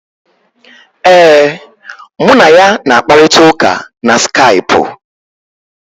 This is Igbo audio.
Ee, mụ na ya na-akparịta ụka na Skaipụ.